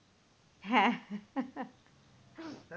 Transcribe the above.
হ্যাঁ